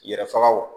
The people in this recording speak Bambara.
Yɛrɛ faga wo